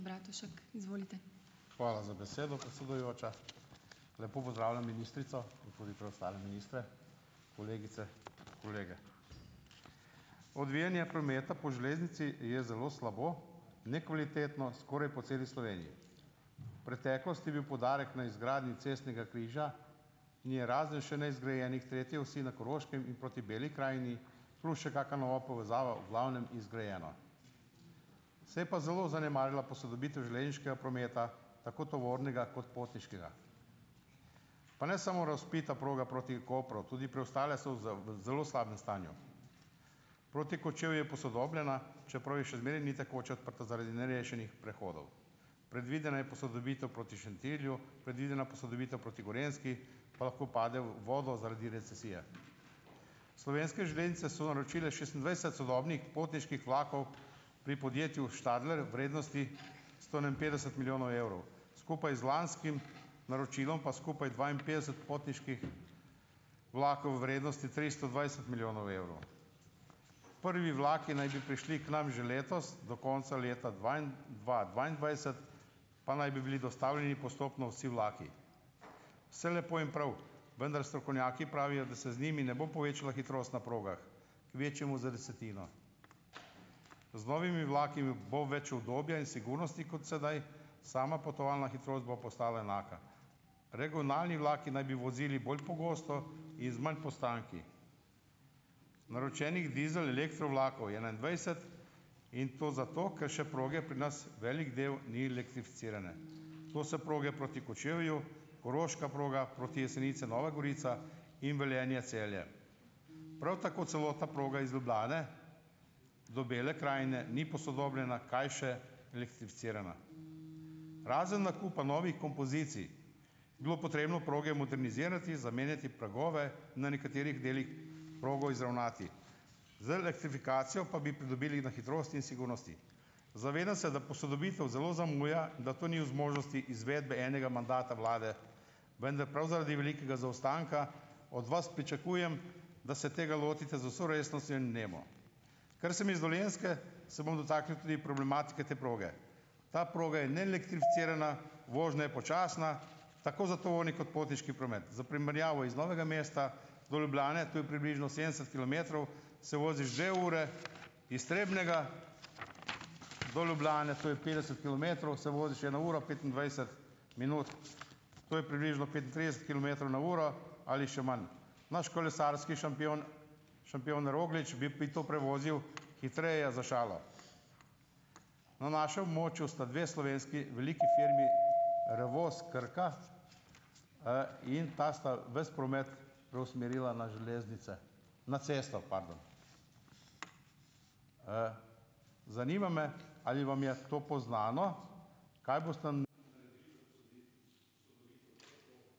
Hvala za besedo, predsedujoča. Lepo pozdravljam ministrico in tudi preostale ministre, kolegice, kolege. Odvijanje prometa po železnici je zelo slabo, nekvalitetno, skoraj po celi Sloveniji. V preteklosti je bil poudarek na izgradnji cestnega križa in je razred še neizgrajene tretje osi na Koroškem in proti Beli krajini, plus še kaka nova povezava v glavnem izgrajena. Se pa je zelo zanemarila posodobitev železniškega prometa, tako tovornega kot potniškega. Pa ne samo razvpita proga proti Kopru, tudi preostale so za v zelo slabem stanju. Proti Kočevju je posodobljena, čeprav je še zmeraj ni tekoče odprta zaradi nerešenih prehodov. Predvidena je posodobitev proti Šentilju, predvidena posodobitev proti Gorenjski pa lahko pade v vodo zaradi recesije. Slovenske železnice so naročile šestindvajset sodobnih potniških vlakov pri podjetju Stadler v vrednosti sto enainpetdeset milijonov evrov. Skupaj z lanskim naročilom pa skupaj dvainpetdeset potniških vlakov v vrednosti tristo dvajset milijonov evrov. Prvi vlaki naj bi prišli k nam že letos do konca leta, dva dvaindvajset pa naj bi bili dostavljeni postopno vsi vlaki. Vse lepo in prav, vendar strokovnjaki pravijo, da se z njimi ne bo povečala hitrost na progah, kvečjemu za desetino. Z novimi vlaki, bo več udobja in sigurnosti kot sedaj, sama potovalna hitrost bo pa ostala enaka. Regionalni vlaki naj bi vozili bolj pogosto in z manj postanki. Naročenih dizel-elektro vlakov je enaindvajset, in to zato, ker še proge pri nas velik del ni elektrificirane. To so proge proti Kočevju, koroška proga, proti Jesenicam, Nova Gorica in Velenje-Celje. Prav tako celotna proga iz Ljubljane do Bele krajine ni posodobljena, kaj še elektrificirana. Razen nakupa novih kompozicij bi bilo potrebno proge modernizirati, zamenjati pragove, na nekaterih delih progo izravnati. Z elektrifikacijo pa bi pridobili na hitrosti in sigurnosti. Zavedam se, da posodobitev zelo zamuja in da to ni v zmožnosti izvedbe enega mandata vlade, vendar prav zaradi velikega zaostanka od vas pričakujem, da se tega lotite z vso resnostjo in vnemo. Ker sem iz Dolenjske, se bom dotaknil tudi problematike te proge. Ta proga je neelektrificirana, vožnja je počasna, tako za tovorni kot potniški promet. Za primerjavo: iz Novega mesta do Ljubljane, to je približno sedemdeset kilometrov, se voziš dve uri, iz Trebnjega do Ljubljane, to je petdeset kilometrov, se voziš eno uro in petindvajset minut. To je približno petintrideset kilometrov na uro ali še manj. Naš kolesarski šampion šampion Roglič bi bi to prevozil hitreje, za šalo. Na našem območju sta dve slovenski veliki firmi Revoz, Krka, in ti sta ves promet preusmerila na železnice, na cesto, "pardon". Zanima me, ali vam je to poznano. Kaj boste ...